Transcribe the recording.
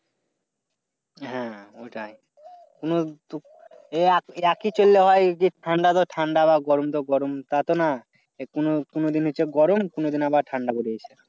হ্যাঁ আমি জানি। কোন তো, এ একি একি চললে হয় যে ঠান্ডা তা ঠান্ডা বা গরম তা গরম। তাতো না পুন কোনদিন দিন হচ্ছে গরম কোনদিন আবা ঠান্ডা বের হয়।